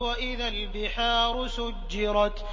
وَإِذَا الْبِحَارُ سُجِّرَتْ